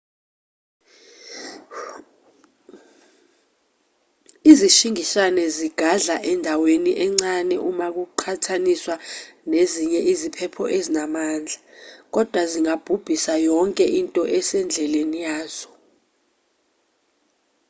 izishingishane zigadla endaweni encane uma kuqhathaniswa nezinye iziphepho ezinamandla kodwa zingabhubhisa yonke into esendleleni yazo